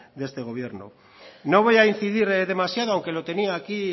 de este gobierno no voy a incidir demasiado aunque lo tenía aquí